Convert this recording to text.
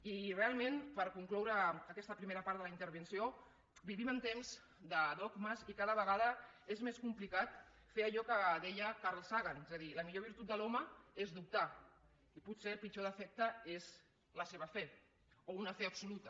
i realment per concloure aquesta primera part de la intervenció vivim en temps de dogmes i cada vegada és més complicat fer allò que deia carl sagan és a dir la millor virtut de l’home és dubtar i potser el pitjor defecte és la seva fe o una fe absoluta